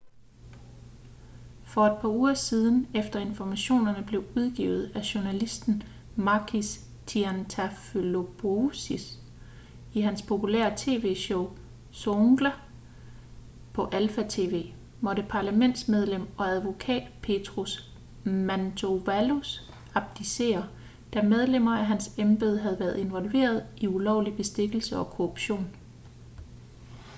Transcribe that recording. for et par uger siden efter informationerne blev udgivet af journalisten makis triantafylopoulos i hans populære tv-show zoungla på alpha tv måtte parlamentsmedlem og advokat petros mantouvalos abdicere da medlemmer af hans embede havde været involveret i ulovlig bestikkelse og korruption